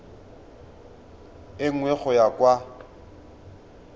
e nngwe go ya kwa